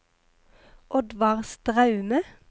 Oddvar Straume